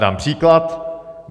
Dám příklad.